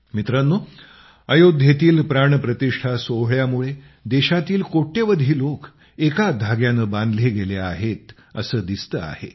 मित्रांनो अयोध्येतील प्राणप्रतिष्ठा सोहळ्यामूळे देशातील कोट्यावधी लोक एका धाग्याने बांधले गेले आहेत असे दिसते आहे